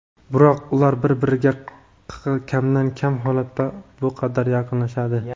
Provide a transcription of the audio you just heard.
Biroq ular bir-biriga kamdan-kam holatda bu qadar yaqinlashadi.